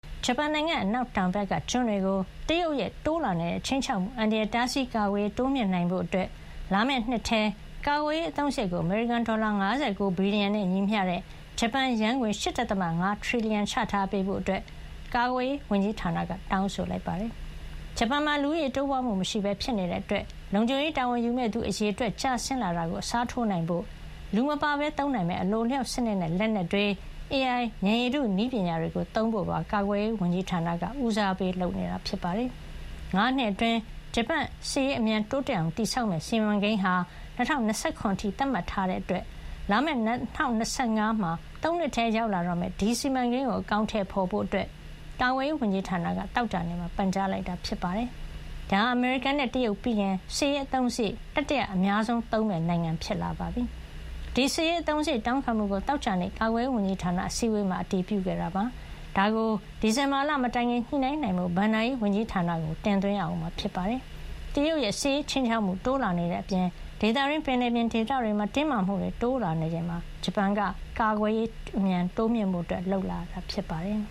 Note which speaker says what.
Speaker 1: ဂျပန်နိုင်ငံရဲ့ အနောက်တောင်ဘက်က ကျွန်းတွေကို တရုတ်ရဲ့ တိုးလာနေတဲ့ ခြိမ်းခြောက်မှုအန္တရာယ်၊ တားဆီးကာကွယ်ရေး တိုးမြှင့်နိုင်ဖို့ လာမယ့်နှစ်ထဲ ကာကွယ်ရေးအသုံးစားရိတ်ကို အမေရိကန်ဒေါ်လာ ၅၉ ဘီလီယံနဲ့ ညီမျှတဲ့ ဂျပန်ယန်းငွေ ၈.၅ ထရီလီယံ ချထားပေးဖို့ ကာကွယ်ရေးဝန်ကြီးဌာနကသြဂုတ်လ ၃၀ ရက်နေ့မှာ တောင်းဆိုလိုက်ပါတယ်။ ဂျပန်မှာ လူဦးရေတိုးပွါးမှုမရှိပဲ ဖြစ်နေတာကြောင့် လုံခြုံရေးတာဝန်ယူမယ့်သူ အရေအတွက်ကျဆင်းလာတာကို အစားထိုးနိုင်ဖို့ လူမပါပဲ သုံးနိုင်မယ့် အလိုအလျှောက်စံနစ်နဲ့ လက်နက်တွေ၊ AI ဉာဏ်ရည်တု နည်းပညာတွေကို သုံးဖို့ပါ ကာကွယ်ရေးဝန်ကြီးဌာနက ဦးစားပေးလုပ်ဆောင်နေတာ ဖြစ်ပါတယ်။ ၅ နှစ်အတွင်း ဂျပန်ရဲ့ စစ်ရေး အမြန်တိုးတက်အောင်တည်ဆောက်မယ့် စီမံကိန်းဟာ ၂၀၂၇ အထိ သတ်မှတ်ထားတာကြောင့် လာမယ့် ၂၀၂၅ ခုနှစ်မှာ ၃ နှစ်ထဲ ရောက်လာမယ့် ဒီစီမံကိန်းကို အကောင်ထည်ဖေါ်ဖို့ ကာကွယ်ရေး ဝန်ကြီးဌာနက သောကြာနေ့မှာ ပန်ကြားလိုက်တာ ဖြစ်ပါတယ်။ ဒါဟာ အမေရိကန်နဲ့ တရုတ်ပြီးရင် စစ်ရေးအသုံးစားရိတ် တတိယ အများဆုံးသုံးမယ့်နိုင်ငံဖြစ်လာတာပါ။ ဒီ စစ်ရေး အသုံးစားရိတ် တောင်းခံမှုကို သောကြာနေ့ ကာကွယ်ရေး ဝန်ကြီးဌာန အစည်းဝေးမှာ အတည်ပြုခဲ့တာ ဖြစ်ပြီး ဒါကို ဒီဇင်ဘာလ မတိုင်ခင် ညှိနှိုင်းနိုင်ဖို့ ဘဏ္ဍာရေး ဝန်ကြီးဌာနကို တင်သွင်းရမှာ ဖြစ်ပါတယ်။ မကြာခင် နှစ်တွေ အတွင်း တရုတ်ရဲ့ စစ်ရးခြိမ်းခြောက်မှုတွေ တိုးလာနေတဲ့ အပြင် ဒေသတွင်း ပင်လယ်ပြင်တွေမှာလည်း တင်းမာမှုတွေ တိုးလာနေချိန်မှာ ဂျပန်က သူ့ရဲ့ အနောက်တောင်ဘက် ဒေသမှာ ကာကွယ်ရေး အမြန်တိုးမြှင့်ဖို့ လုပ်လာတာ ဖြစ်ပါတယ်